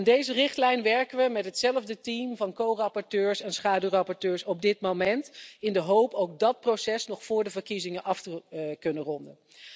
Aan deze richtlijn werken we met hetzelfde team van co rapporteurs en schaduwrapporteurs op dit moment, in de hoop ook dat proces nog voor de verkiezingen af te kunnen ronden.